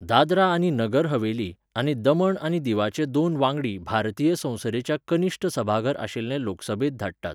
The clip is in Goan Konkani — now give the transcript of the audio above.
दादरा आनी नगर हवेली, आनी दमण आनी दीवाचे दोन वांगडी भारतीय संसदेच्या कनिश्ठ सभाघर आशिल्ले लोकसभेंत धाडटात.